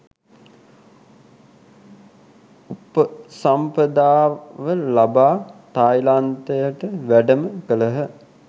උපසම්පදාව ලබා තායිලන්තයට වැඩම කළහ.